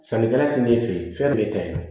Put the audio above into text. Sannikɛla ti ne fɛ ye fɛn dɔ b'e ta ye